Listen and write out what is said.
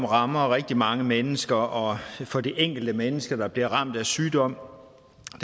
rammer rigtig mange mennesker og for det enkelte menneske der bliver ramt af sygdom